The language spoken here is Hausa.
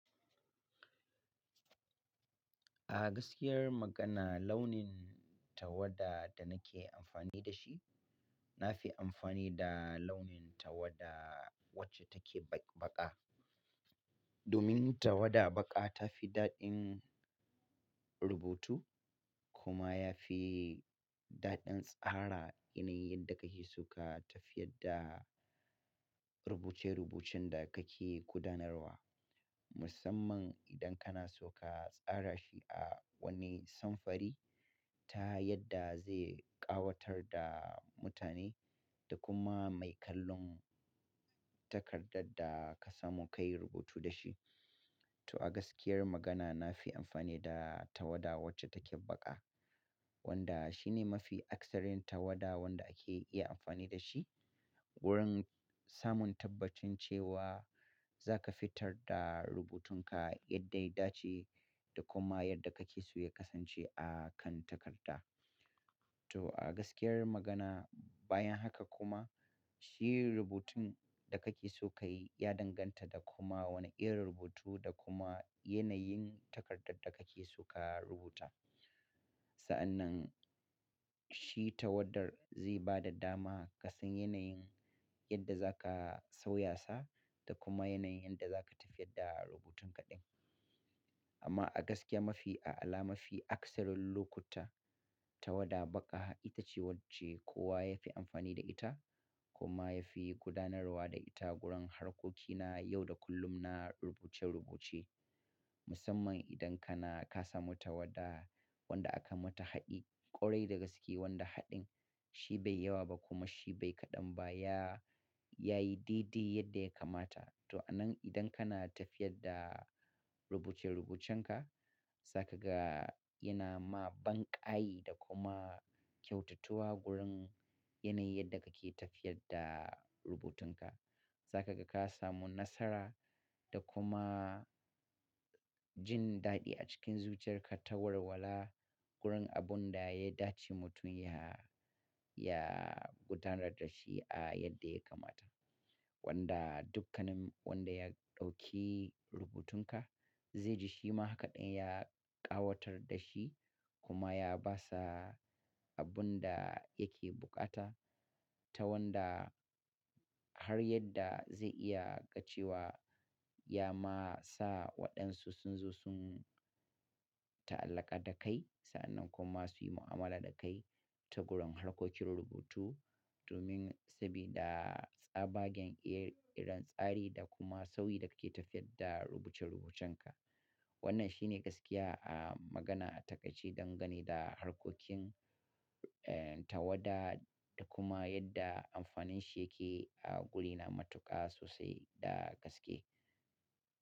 A gaskiyar magana launin tawada da nake amfani da shi, na fi amfani da launin tawada wacce take baƙa. Domin tawada baƙa ta fi daɗin rubutu kuma ya fi daɗin tsara yanayin da kake so ka tafiyar da rubuce-rubucin da kake gudanarwa. Musamman idan kana so ka tsara shi a wani samfari ta yadda zai ƙawatar da mutane da kuma mai kallon takardar da ka samu ka yi rubutu da shi. To a gaskiyar magana na fi amfani da tawada wacce take baƙa wanda shi ne mafi akasarin tawada wanda ake iya amfani da shi wurin samun tabbacin cewa za ka fitar da rubutunka yadda ya dace da kuma yadda kake so ya kasance a kan takarda. To a gaskiyar magana bayan haka kuma shi rubutun da kake so ka yi ya danganta da kuma wane irin rubutu da kuma yanayin takardar da kake so ka rubuta. Sa'an nan shi tawadar zai ba da dama ga sun yanayin yadda za ka sauyasa da kuma yanayin yadda za ka tafiyar da rubutunka din. Amma a gaskiya mafi a'ala, mafi akasarin lokuta tawada baƙa ita ce wacce kowa ya fi amfani da ita kuma ya fi gudanarwa da ita wurin harkokina yau da kullum na rubuce-rubuce. Musamman idan kana ka samu tawada wanda aka mata haɗi ƙwarai da gaske wanda haɗin shi bai yawa ba kuma shi bai kaɗan ba ya, ya yi dai-dai yadda ya kamata. To a nan idan kana tafiyar da rubuce-rubucenka za ka ga yana ma banƙayi da kuma kyautatuwa gurin yanayin yadda kake tafiyar da rubutunka. Za ka ga ka samu nasara da kuma jin daɗi a cikin zuciyarka ta warwala gurin abun da ya dace mutum ya, ya gudanar da shi a yadda ya kamata. Wanda dukkanin wanda ya ɗauki rubutunka zai ji shi ma haka ɗin ya ƙawatar da shi kuma ya ba sa abun da yake buƙata. Ta wanda har yadda zai iya ga cewa ya ma sa waɗansu sun zo sun ta'allaka da kai sa'an nan kuma su yi mu'amala da kai ta gurin harkokin rubutu. Domin sabida tsabagen irin tsari da kuma sauyi da kake tafiyar da rubuce-rubucenka. Wannan shi ne gaskiya a magana a taƙaice dangane da harkokin, eh, tawada da kuma yadda amfanin shi yake a guri na matuƙa sosai da gaske.